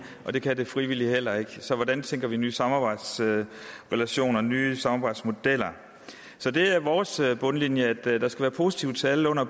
og det kan det frivillige heller ikke så hvordan tænker vi nye samarbejdsrelationer og nye samarbejdsmodeller vores bundlinje er at der skal være positive tal